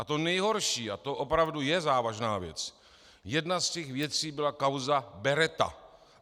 A to nejhorší, a to opravdu je závažná věc, jedna z těch věcí byla kauza Beretta.